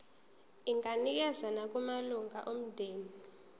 inganikezswa nakumalunga omndeni